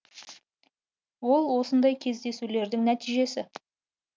ол осындай кездесулердің нәтижесі